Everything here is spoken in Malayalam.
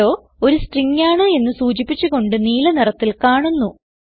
ഹെല്ലോ ഒരു സ്ട്രിംഗ് ആണ് എന്ന് സൂചിപ്പിച്ച് കൊണ്ട് നീല നിറത്തിൽ കാണുന്നു